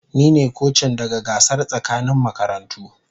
Ni ne kocin daga gasar tsakanin makarantu.